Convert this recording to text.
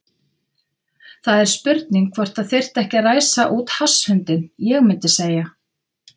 Það er spurning hvort það þyrfti ekki að ræsa út hasshundinn. ég mundi segja.